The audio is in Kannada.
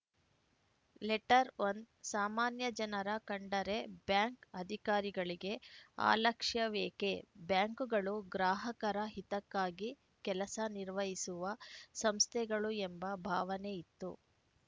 ಲೆಟರ್‌ಒನ್ ಸಾಮಾನ್ಯಜನರ ಕಂಡರೆ ಬ್ಯಾಂಕ್‌ ಅಧಿಕಾರಿಗಳಿಗೆ ಅಲಕ್ಷ್ಯವೇಕೆ ಬ್ಯಾಂಕುಗಳು ಗ್ರಾಹಕರ ಹಿತಕ್ಕಾಗಿ ಕೆಲಸ ನಿರ್ವಹಿಸುವ ಸಂಸ್ಥೆಗಳು ಎಂಬ ಭಾವನೆ ಇತ್ತು